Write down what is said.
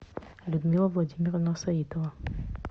людмила владимировна саитова